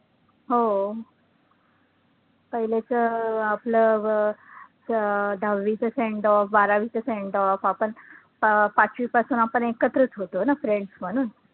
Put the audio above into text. हो, पहिलेचं अं आपलं अं अं दहावीचं sendoff, बारवीचं sendoff आपण अं पाचवीपासून आपण एकत्रचं होतो ना friends म्हणून